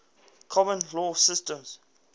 common law systems